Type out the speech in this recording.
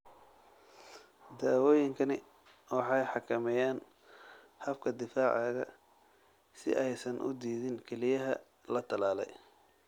Daawooyinkani waxay xakameeyaan habka difaacaaga si aysan u diidin kelyaha la tallaalay.